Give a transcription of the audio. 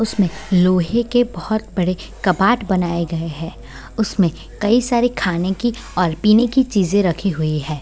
उसमें लोहे के बहोत बड़े कबाड़ बनाये गए हैं उसमें कई सारे खाने की और पीने की चीजें रखी हुई हैं।